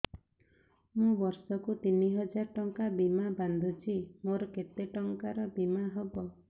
ମୁ ବର୍ଷ କୁ ତିନି ହଜାର ଟଙ୍କା ବୀମା ବାନ୍ଧୁଛି ମୋର କେତେ ଟଙ୍କାର ବୀମା ହବ